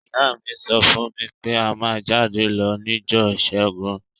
Ìyá mi so fún mí pe a má jáde lo nijọ́ ìsẹ́gun